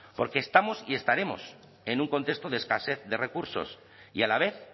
porque estamos y estaremos en un contexto de escasez de recursos y a la vez